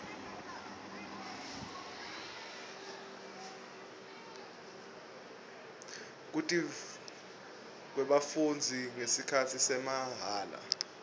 kutivolavoca kwebafundzi ngesikhatsi samahala